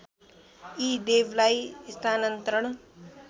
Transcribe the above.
यी देवलाई स्थानान्तरण